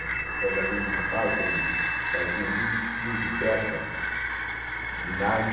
Eu trabalhei numa fábrica onde se faziam muitos fios de pesca de nylon.